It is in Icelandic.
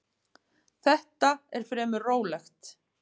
Þetta er fremur rólegt.